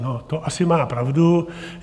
No to asi má pravdu.